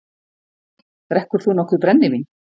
Drekkur þú nokkuð brennivín?